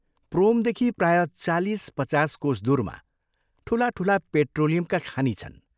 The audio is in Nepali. प्रोमदेखि प्रायः चालीस, पचास कोस दूरमा ठूला ठूला पेट्रोलियमका खानि छन्।